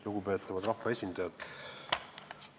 Lugupeetavad rahvaesindajad!